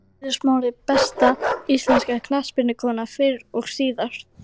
Eiður Smári Besta íslenska knattspyrnukonan fyrr og síðar?